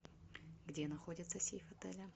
где находится сейф отеля